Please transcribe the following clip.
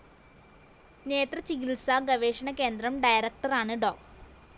നേത്രചികിത്‌സാ ഗവേഷണ കേന്ദ്രം ഡയറക്ടറാണ് ഡോ